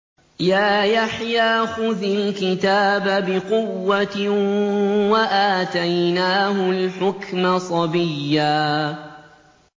يَا يَحْيَىٰ خُذِ الْكِتَابَ بِقُوَّةٍ ۖ وَآتَيْنَاهُ الْحُكْمَ صَبِيًّا